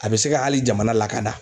A bɛ se ka hali jamana lakanda.